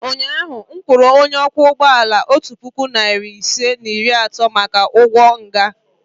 ụnyahụ m kwụrụ onye ọkwọ ụgbọ ala otu puku na narị ise na iri atọ maka ụgwọ nha.